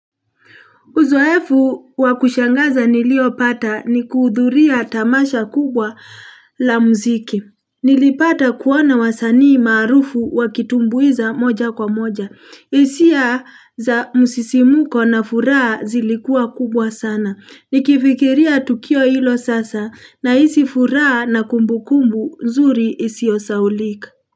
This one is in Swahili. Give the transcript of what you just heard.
Uzoefu wa kushangaza niliopata ni kuhudhuria tamasha kubwa la muziki. Nilipata kuona wasanii maarufu wakitumbuiza moja kwa moja. Hisia za msisimko na furaha zilikua kubwa sana. Nikifikiria tukio ilo sasa nahisi furaha na kumbukumbu nzuri isio sahaulika.